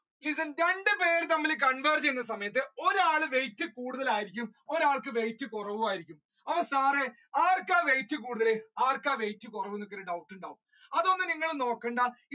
ഇത് രണ്ട് പേർ തമ്മിൽ converge ചെയ്യുന്ന സമയത്തു ഒരാൾ weight കൂടുതൽ ആയിരിക്കും ഒരാൾക്ക് weight കുറവുമായിരിക്കും അപ്പൊ താഴെ ആർക്കാ weight കൂടുതൽ ആർക്കാ weight കുറവ് എന്ന് doubt ഉണ്ടാവും അതൊന്നും നിങ്ങൾ നോക്കണ്ട